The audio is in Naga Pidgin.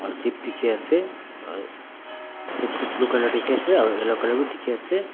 ship dikhiase ship tu blue colour dikhiase aro yellow colour bi dikhiase.